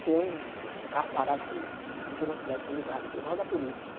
Tinha um um carro parado com giroflex ligado, igual da polícia.